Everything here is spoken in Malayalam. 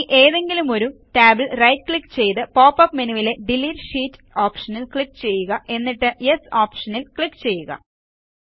ഇനി ഏതെങ്കിലും ഒരു ടാബിൽ റൈറ്റ് ക്ലിക്ക് ചെയ്തു പോപ്പപ്പ് മെനുവിലെ ഡിലീറ്റ് ഷീറ്റ് ഓപ്ഷനിൽ ക്ലിക്ക് ചെയ്യുക എന്നിട്ട്Yes ഓപ്ഷൻ ക്ലിക്ക് ചെയ്യുക